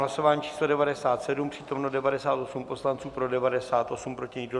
Hlasování číslo 97, přítomno 98 poslanců, pro 98, proti nikdo.